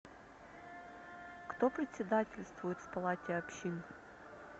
кто председательствует в палате общин